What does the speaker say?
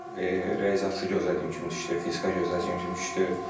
Riyaziyyat gözlədiyim kimi düşdü, fizika gözlədiyim kimi düşdü.